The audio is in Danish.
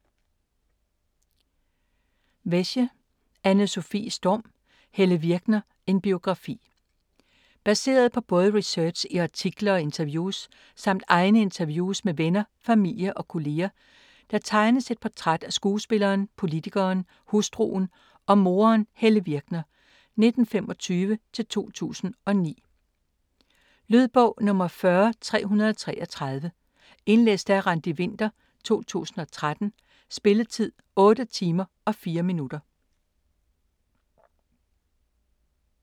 Wesche, Anne-Sofie Storm: Helle Virkner: en biografi Baseret på både research i artikler og interviews samt egne interviews med venner, familie og kolleger tegnes et portræt af skuespilleren, politikeren, hustruen og moderen Helle Virkner (1925-2009). Lydbog 40333 Indlæst af Randi Winther, 2013. Spilletid: 8 timer, 4 minutter.